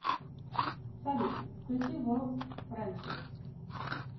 салют включи ворлд френдшип